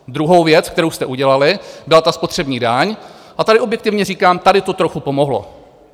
Druhou věc, kterou jste udělali, byla ta spotřební daň, a tady objektivně říkám, tady to trochu pomohlo.